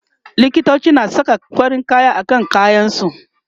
likitoci na Saka farin kaya akan kayan su